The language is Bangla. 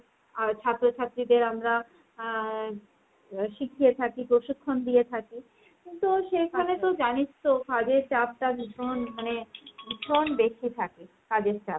ছাত্রছাত্রীদের আমরা আহ শিখিয়ে থাকি, প্রশিক্ষণ দিয়ে থাকি। তো সেগুলো জানিস তো কাজের চাপটা ভীষণ। মানে ভীষণ বেশি থাকে কাজের চাপ।